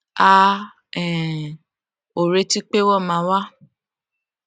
a um ò retí pé wón máa wá